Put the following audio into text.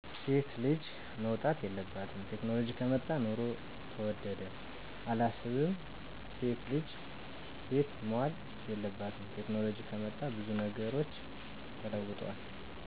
ሴት ልጅ መውጣት የለባትም፣ ቴክኖሎጂ ከመጣ ኑሮ ተወደደ፦ አላስብም እሴት ልጅ ቤት መዋል የለባትም፣ ቴክኖሎጅ ከመጣ ብዙ ነገሮች ተለውጠዋል